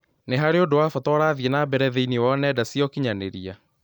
nĩ harĩ ũndũ wa bata ũrathiĩ na mbere thĩinĩ wa nenda cia ũkĩnyaniria